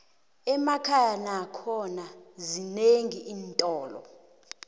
emakhaya nakhona zinenqi iintolo